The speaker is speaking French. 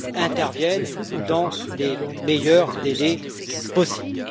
interviennent dans les meilleurs délais possibles.